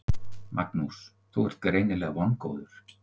Magnús: Þú ert greinilega vongóður?